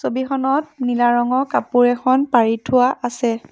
ছবিখনত নীলা ৰঙৰ কাপোৰ এখন পাৰি থোৱা আছে।